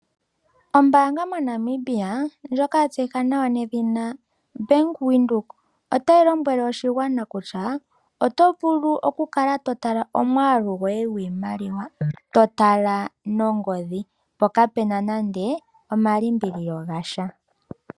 Ombaanga moNamibia ndjoka ya tseyika nawa nedhina Bank Windhoek, otayi lombwele oshigwana kutya oto vulu okukala to tala omwaalu goye gwiimaliwa. To tala nongodhi mpoka kaapena nande omalimbililo gasha.